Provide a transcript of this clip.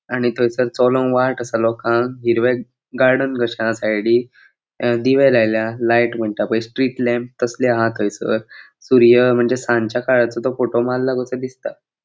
आनी थंयसर चलोंग वाट आसा लोकांक हिरवे गार्डन कशे आसा सायडीक दिवे लायल्या लाइट म्हणता पय स्ट्रीट लॅम्प तसले अहा थंयसर सूर्य म्हणजे सानच्या काळाचो तो फोटो मारला कसो दिसता.